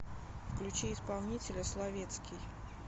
включи исполнителя словетский